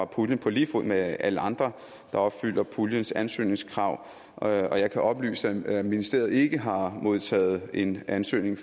puljen på lige fod med alle andre der opfylder puljens ansøgningskrav og jeg kan oplyse at ministeriet ikke har modtaget en ansøgning